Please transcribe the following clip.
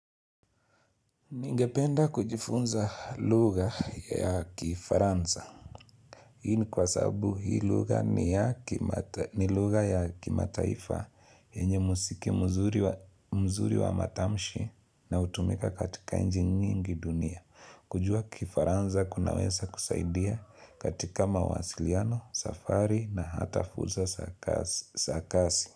Ningependa kujifunza lugha ya kifaranza. Hii ni kwa sababu hii lugha ni ya kimataifa yenye muziki mzuri wa matamshi na hutumika katika nchi nyingi dunia. Kujua kifaransa kuna weza kusaidia katika mawasiliano, safari na hata fursa za kazi.